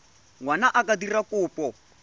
ngwana a ka dira kopo